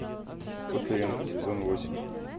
пациенты сезон восемь